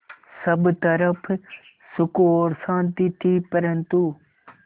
सब तरफ़ सुख और शांति थी परन्तु